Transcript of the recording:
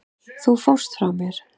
Þú fórst frá mér.